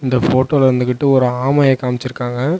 இந்த ஃபோட்டோ ல வந்துகிட்டு ஒரு ஆமைய காம்ச்சிருக்காங்க.